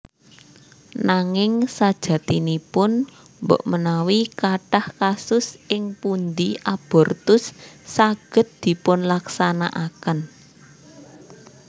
Nanging sajatinipun mbokmenawi kathah kasus ing pundi abortus saged dipunlaksanakaken